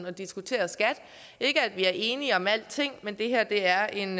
og diskuterer skat ikke at vi er enige om alting men det her er en